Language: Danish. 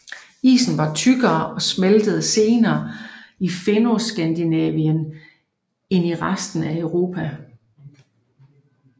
Isen var tykkere og smeltede senere i Fennoskandinavien end i resten af Europa